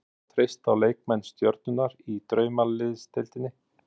Ætlar þú að treysta á leikmenn stjörnunnar í Draumaliðsdeildinni?